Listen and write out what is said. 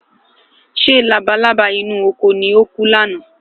ṣé labalábá inú oko ní oku ni àná?